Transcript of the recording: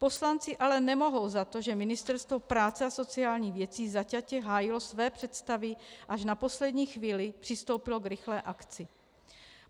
Poslanci ale nemohou za to, že Ministerstvo práce a sociálních věcí zaťatě hájilo své představy, až na poslední chvíli přistoupilo k rychlé akci.